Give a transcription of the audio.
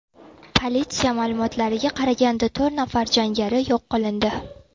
Politsiya ma’lumotlariga qaraganda, to‘rt nafar jangari yo‘q qilindi.